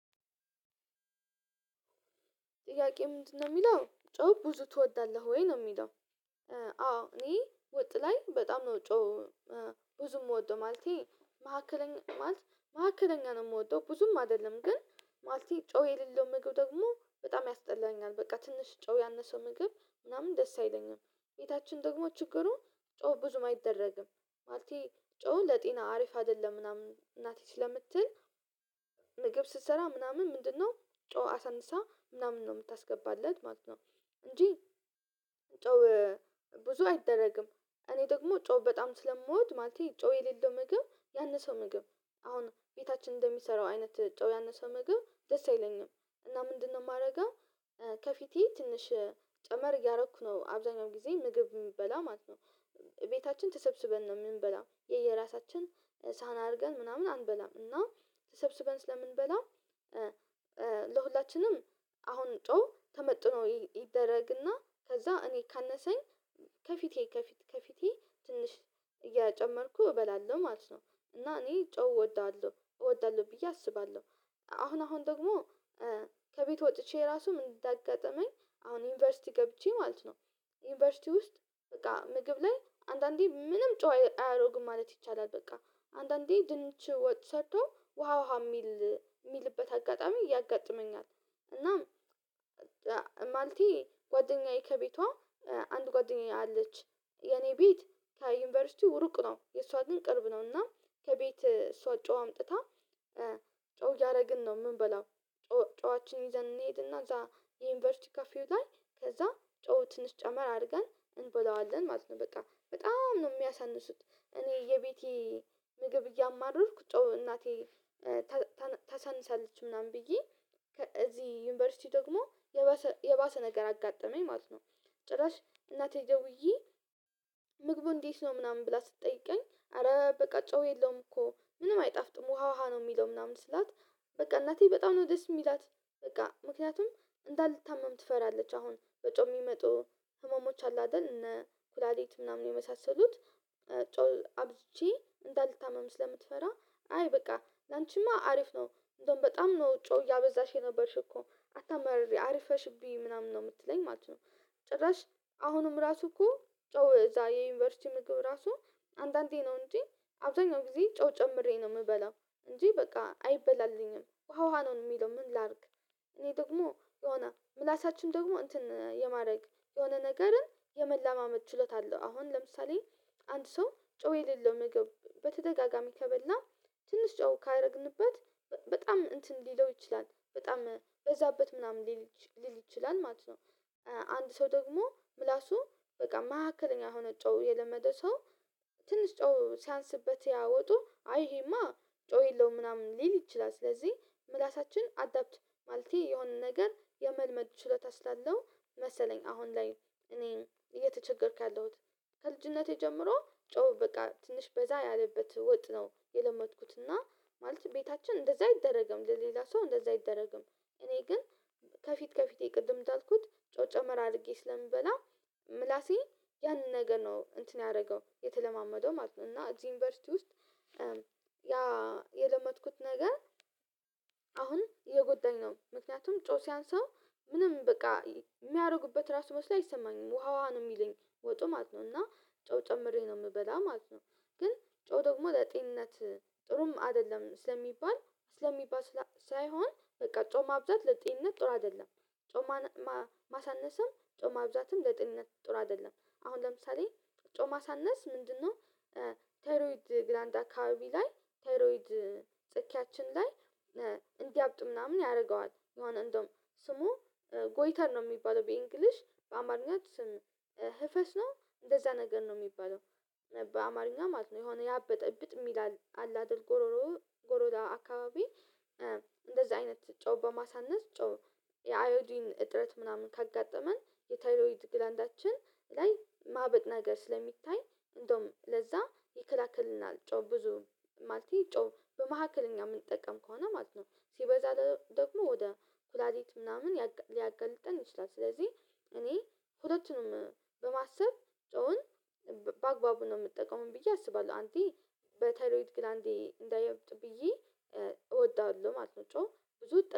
ጥያቄ ምንድነው የሚለው ጨው ብዙ ትወዳለህ ወይ ነው የሚለው? አዎ እኔ ወጥ ላይ በጣም ነው ጮው ብዙ የምወደው ማለቴ። መካከለኛ ማለት መካከለኛ ነው የምወደው ብዙም አይደለም ግን ማለቴ ጮው የሌለው ምግብ ደግሞ በጣም ያስጠላኛል። በቃ ትንሽ ጮው ያነሰው ምግብ ምናምን ደስ አይለኝም። ቤታችን ደግሞ ችግሩ ጨው ብዙም አይደረግም ማለቴ ጨው ለጤና አሪፍ አይደለም ምናምን እናቴ ስለምትል። ምግብ ስትሰራ ምናምን ምንድነው ጮህ አሳንሳ ምናምን ነው የምታስገባለት ማለት ነው። እንጂ ጮው ብዙ አይደረግም እኔ ደግሞ ጮው በጣም ስለምወድ ማለቴ ጮው የሌለው ምግብ ያነሰው ምግብ። አሁን ቤታችን እንደሚሰራው አይነት ጮህ ያነሰ ምግብ ደስ አይለኝም እና ምንድነው የማደርገው? ከፊቴ ትንሽ ጨመር እያደረኩ ነው አብዛኛው ጊዜ ምግብ የምበላ ማለት ነው። ቤታችን ተሰብስበን ነው የምንበላው የየራሳችን ሳህን አድርገን ምናምን አንበላም እና ተሰብስበን ስለምንበላው። ለሁላችንም አሁን ጮህ ተመጥኖ ይደረግና ከዛ እኔ ካነሰኝ ከፊቴ ከፊቴ ከፊቴ ትንሽ እያጨመርኩ እበላለሁ ማለት ነው። እና እኔ ጨው እወዳለሁ እወዳለሁ ብዬ አስባለሁ። አሁን አሁን ደግሞ ከቤት ወጥቼ ራሱ ምን እንዳጋጠመኝ አሁን ዩኒቨርሲቲ ገብቼ ማለት ነው። ዩኒቨርሲቲ ውስጥ በቃ ምግብ ላይ አንዳንዴ ምንም ጨው አያደርግም ማለት ይቻላል በቃ አንዳንዴ ድንች ወጥ ሰርተው ውሃ ውሃ የሚል የሚልበት አጋጣሚ ያጋጥመኛል ነው። እና ማለቴ ጓደኛዬ ከቤቷ አንድ ጓደኛዬ አለች የኔ ቤት ከዩኒቨርሲቲው እሩቅ ነው የእሷ ግን ቅርብ ነው እና ከቤት እሷ ጨው አምጥታ ጨው እያደረግን ነው የምንበላው። ጨዋችን ይዘን እንሄድና እዛ የዩኒቨርሲቲ ካፌው ላይ ከዛ ጨው ትንሽ ጨመር አድርገን እንበላዋለን ማለት ነው። በቃ በጣም ነው የሚያሳንሱት እኔ የቤቴ ምግብ እያማረርኩ ጨው እናቴ ታሳንሳለች ምናምን ብዬ እዚህ ዩኒቨርሲቲ ደግሞ የባሰ ነገር አጋጠመኝ ማለት ነው። ጭራሽ እናቴ ደውዬ ምግቡ እንዴት ነው ምናምን ብላ ስትጠይቀኝ አረ በቃ ጨው የለውም እኮ ምንም አይጣፍጥም ውሃ ውሃ ነው የሚለው ምናምን ስላት። በቃ እናቴ በጣም ነው ደስ የምላት በቃ ምክንያቱም እንዳልታመም ትፈራለች አሁን በጨው የሚመጡ ህመሞች አሉ አይደል እነ ኩላልት ምናምን የመሳሰሉት ጨው አብዥቼ እንዳልታመም ስለምትፈራ አይ በቃ ላንቺማ አሪፍ ነው እንደውም በጣም ነው ጨው እያበዛሽ የነበርሽ እኮ አታመርሪ አሪፈሽ ብይ ምናምን ነው የምትለኝ ማለት ነው። ጭራሽ አሁንም ራሱ እኮ ጮሁ እዛ የዩኒቨርሲቲ ምግብ ራሱ አንዳንዴ ነው እንጂ አብዛኛው ጊዜ ጨው ጨምሬ ነው የምበላው። እንጂ በቃ አይበላልኝም ውሃ ውሃ ነው የሚለው ምን ላድርግ? እኔ ደግሞ የሆነ ምላሳችን ደግሞ እንትን የማድረግ የሆነ ነገርን የመላማመድ ችሎታ አለው አሁን ለምሳሌ አንድ ሰው ጨው የሌለው ምግብ በተደጋጋሚ ከበላ ትንሽ ጨው ካደረግንበት በጣም እንትን ሊለው ይችላል በጣም በዛበት ምናምን ልል ሊል ይችላል ማለት ነው። አንድ ሰው ደግሞ ምላሱ በቃ መካከለኛ ሆኖ ጨው የለመደ ሰው ትንሽ ጨው ሲያንስበት ያ ወጡ አይ ይሄማ ጨው የለውም ምናምን ሊል ይችላል። ስለዚህ ምላሳችን አዳፕት ማለቴ የሆነ ነገር የመልመድ ሽለታ ስላለው መሰለኝ አሁን ላይ እኔ እየተቸገርኩ ያለሁት ከልጅነቴ ጀምሮ ጨው በቃ ትንሽ በዛ ያለበት ወጥ ነው የለመድኩት እና ማለት ቤታችን እንደዛ አይደረግም ለሌላ ሰው እንደዛ አይደረግም እኔ ግን ከፊት ከፊቴ ቅድም እንዳልኩት ጨው ጨመር አድርጌ ስለምበላ። ምላሴ ያንን ነገር ነው እንትን ያደረገው የተለማመደው ማለት ነው። እና እዚህ ዩኒቨርሲቲ ውስጥ ያ የለመድኩት ነገር አሁን እየጎዳኝ ነው። ምክንያቱም ጨው ሲያንስህ ምንም በቃ የሚያደርጉበት ራሱ መስሎ አይሰማኝም ውሃ ውሃ ነው የሚለኝ ወጡ ማለት ነው እና ጨው ጨምሬ ነው የምበላ ማለት ነው። ግን ጨው ደግሞ ለጤንነት ጥሩም አይደለም ስለሚባል ስለሚባል ሳይሆን በቃ ጨው ማብዛት ለጤንነት ጥሩ አይደለም። ጮማ ማሳነስም ጨው ማብዛት ለጤንነት ጥሩ አይደለም አሁን ለምሳሌ ጨው ማሳነስ ምንድነው? ቴሮይድ ግላንዳ አካባቢ ላይ ቴሮይድ ጽኬያችን ላይ እንዲያብጥ ምናምን ያደርገዋል የሆነ እንደውም ስሙ ጎይተር ነው የሚባለው በእንግሊሽ በአማርኛ ስም ህፈስ ነው እንደዛ ነገር ነው የሚባለው። በአማርኛ ማለት ነው የሆነ ያበጠ እብጥም ይላል አለ አይደል ጎሮሮ ጎሮሮ አካባቢ እንደዚህ አይነት ጨው በማሳነስ ጨው የአዮዲን እጥረት ምናምን ካጋጠመን የታይሮይድ ግላንዳችን ላይ ማበጥ ነገር ስለሚታይ እንደውም ለዛ ይከላከልናል ጨው ብዙ ማለት ጨው በመካከለኛ የምንጠቀም ከሆነ ማለት ነው። ሲበዛ ደግሞ ወደ ኩላልት ምናምን ሊያገልጠን ይችላል። ስለዚህ እኔ ሁለቱንም በማሰብ ጨውን በአግባቡ ነው የምጠቀመው ብዬ አስባለሁ አንዴ በተይሮይድ ግላንዴ እንዳያብጥ ብዬ እወዳለሁ ማለት ነው። ጨው ብዙ እጠ